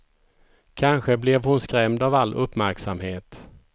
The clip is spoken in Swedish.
Kanske blev hon skrämd av all uppmärksamhet.